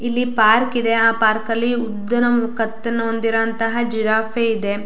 ಇಲ್ಲಿ ಪಾರ್ಕ್ ಇದೆ ಆ ಪಾರ್ಕಲ್ಲಿ ಉದ್ದನೆ ಒಂದು ಕತ್ತನು ಹೊಂದಿರುವಂತಹ ಜಿರಾಫೆ ಇದೆ.